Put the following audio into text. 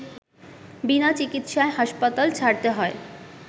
বিনা চিকিৎসায় হাসপাতাল ছাড়তে হয়